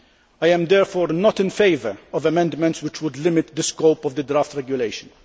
I am therefore not in favour of amendments which would limit the scope of the draft regulation.